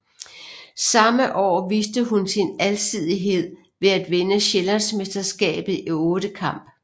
Samme år viste hun sin alsidighed ved at vinde sjællandsmesterskabet i ottekamp